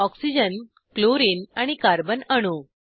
oxygen chlorine आणि carbon अणू